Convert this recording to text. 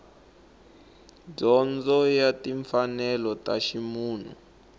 dyondzo ya timfanelo ta ximunhu